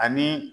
Ani